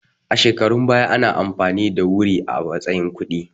A shekarun baya ana amfani da wuri a matsayin kuɗi